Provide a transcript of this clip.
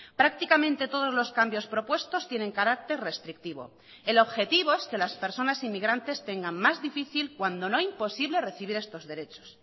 prácticamente todos los cambios propuestos tienen carácter restrictivo el objetivo es que las personas inmigrantes tengan más difícil cuando no imposible recibir estos derechos